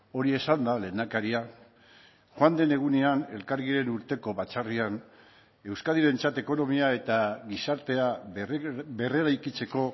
hori esanda lehendakaria joan den egunean elkargiren urteko batzarrean euskadirentzat ekonomia eta gizartea berreraikitzeko